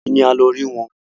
Òní ni a lọ rí wọn